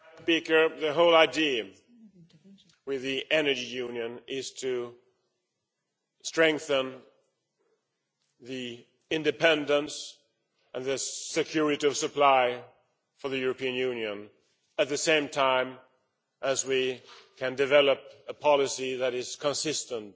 Madam President, the whole idea with the Energy Union is to strengthen the independence and security of supply for the European Union at the same time as we can develop a policy that is consistent